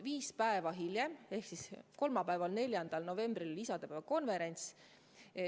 Viis päeva hiljem ehk siis kolmapäeval, 4. novembril oli isadepäeva konverents.